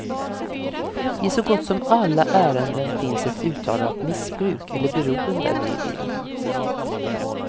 I så gott som alla ärenden finns ett uttalat missbruk eller beroende med i bilden.